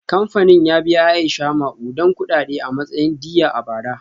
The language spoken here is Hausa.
Kamfanin ya biya Aisha makudan kudade a matsayin diyya a bara.